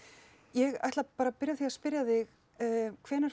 ég ætla bara að byrja á að spyrja þig hvenær